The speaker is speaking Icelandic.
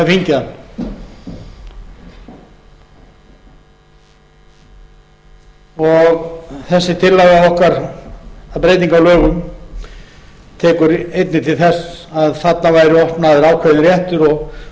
fengið hann þessi tillaga okkar að breytingu á lögum tekur einnig til þess að þarna væri opnaður ákveðinn réttur og